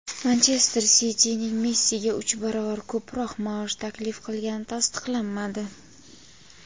"Manchester Siti"ning Messiga uch barobar ko‘proq maosh taklif qilgani tasdiqlanmadi.